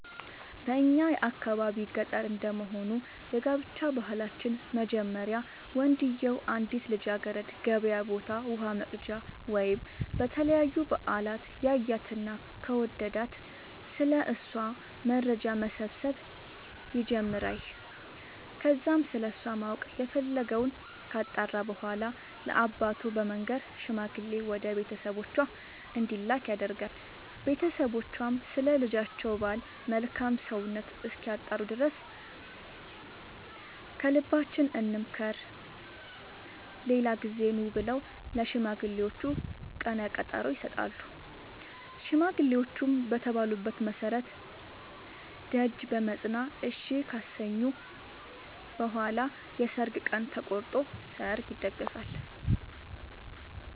በእኛ የአካባቢ ገጠር እንደመሆኑ የጋብቻ ባህላችን መጀመሪያ ወንድዬው አንዲትን ልጃገረድ ገበያ ቦታ ውሃ ወቅጃ ወይም ለተለያዩ በአላት ያያትና ከወደዳት ስለ እሷ መረጃ መሰብሰብ ይጀምራይ ከዛም ስለሷ ማወቅ የፈለገወን ካጣራ በኋላ ለአባቱ በመንገር ሽማግሌ ወደ ቤተሰቦቿ እንዲላክ ያደርጋል ቦተሰቦቿም ስለ ልጃቸው ባል መልካም ሰውነት እስኪያጣሩ ድረስ ከልባችን እንምከር ሌላ ጊዜ ኑ ብለው ለሽማግሌዎቹ ቀነቀጠሮ ይሰጣሉ ሽማግሌዎቹም በተባሉት መሠረት ደጅ በመፅና እሺ ካሰኙ በኋላ የሰርግ ቀን ተቆርጦ ሰርግ ይደገሳል።